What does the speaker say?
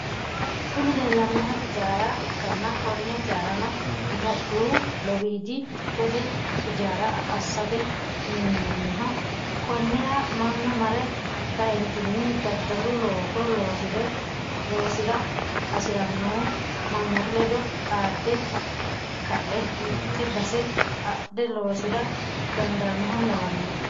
Kuni leellanohu ijaara ikkana konne ijaarano itiyophiyu lowiidi dikkote ijaara assate minnoniho konnira mannu mare kaeentinni daddalu looso loosira hasirannohu mannootu ledo xaade ka"e mitte base adhe loosira dandaanoha lawannoe